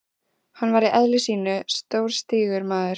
Hann var í eðli sínu stórstígur maður.